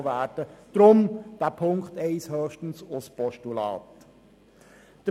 Deshalb wollen wir den Punkt 1 höchstens als Postulat annehmen.